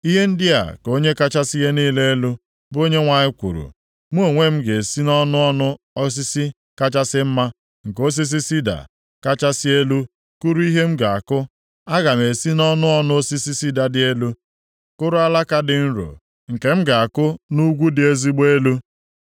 “ ‘Ihe ndị a ka Onye kachasị ihe niile elu, bụ Onyenwe anyị kwuru, Mụ onwe m ga-esi nʼọnụ ọnụ osisi kachasị mma nke osisi sida kachasị elu kụrụ ihe m ga-akụ. Aga m esi nʼọnụ ọnụ osisi sida dị elu kụrụ alaka dị nro, nke m ga-akụ nʼugwu dị ezigbo elu.